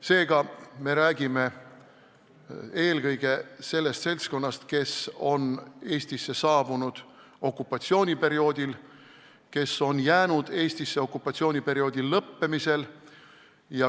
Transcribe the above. Seega me räägime eelkõige sellest seltskonnast, kes on Eestisse saabunud okupatsiooniperioodil ja pärast seda Eestisse jäänud.